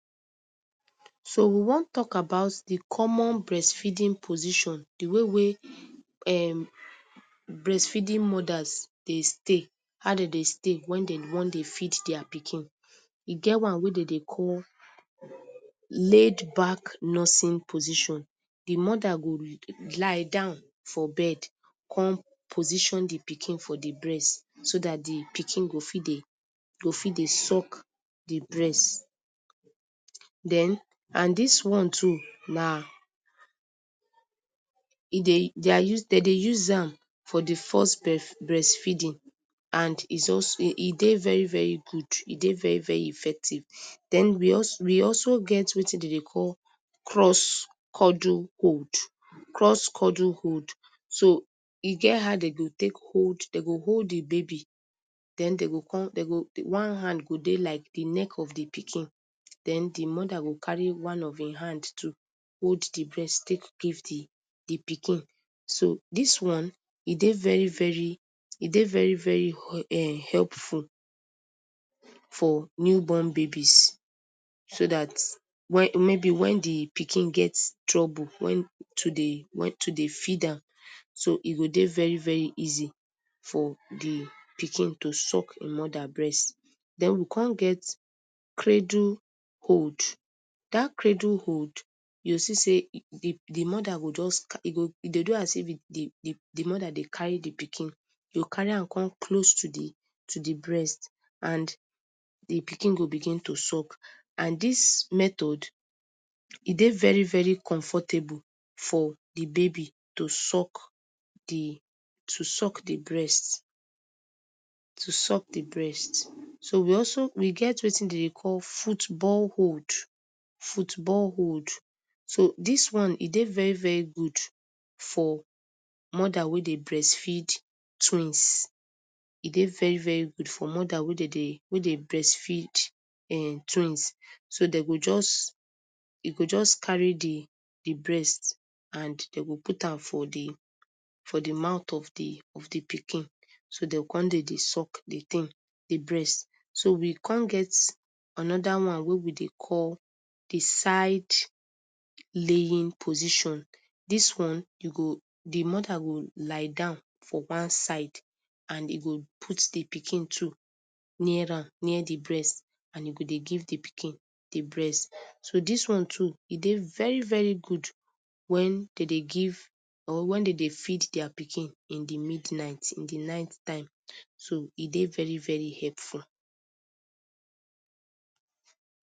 So, we wan talk about di common bressfeeding position, di way wey um bressfeeding modas dey stay. How de dey stay wey dem wan dey feed dia pikin. E get one wey dey dey call laid-back nursing position. Di moda go lie down for bed, come position di pikin for di bress so dat di pikin go fit dey go fit dey suck di bress. Den and dis one too, na e dey, dia use, Dey dey use am for di foss bref bressfeeding, and e also e dey very, very gud, e dey very, very effective. Den, we also we also get wetin dey dey call cross-cuddle hold. Cross-cuddle hold. So, e get how dem go tek hold, dey go hold di baby. Den dey go come, dey go one hand go dey like di neck of di pikin. Den, di moda go carry one of him hand too, hold di breast, tek give di di pikin. So, dis one, e dey very, very e dey very, very [very] hepful for newborn babies so dat wen maybe wen di pikin get trouble, wen to dey, wen to dey feed am, so e go dey very very easy for di pikin to suck em moda bress. Den, we come get cradle hold. Dat cradle hold, you go see say di di moda go just car e go e dey do as if say di di di moda dey carry di pikin. You carry am come close to di to di brest and di pikin go begin to suck. And dis method, e dey very, very comfortable for di baby to suck di to suck di breast to suck di breast. So, we also we get wetin de dey call football hold. Football hold. So, dis one, e dey very, very gud for moda wey dey bressfeed twins. E dey very, very gud for moda wey dey dey wey dey breastfeed um twins. So, dey go just, e go just carry di di breast, and dem go put am for di for di mouth of di of di pikin. So, dem come dey dey suck di ting, di bress. So, we come get anoda one wey we dey call di side-laying position. Dis one, you go di moda go lie down for one side, and e go put di pikin too, near am, near di bress and e go give di pikin di bress. So, dis one too, e dey very, very gud wen dey dey give, or wen dey dey feed dia pikin in di midnight, in di night time. So, e dey very, very hepful.